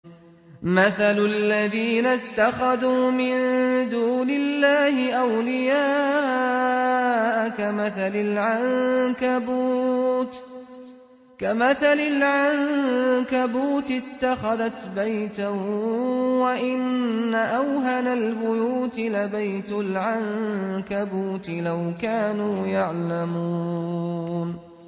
مَثَلُ الَّذِينَ اتَّخَذُوا مِن دُونِ اللَّهِ أَوْلِيَاءَ كَمَثَلِ الْعَنكَبُوتِ اتَّخَذَتْ بَيْتًا ۖ وَإِنَّ أَوْهَنَ الْبُيُوتِ لَبَيْتُ الْعَنكَبُوتِ ۖ لَوْ كَانُوا يَعْلَمُونَ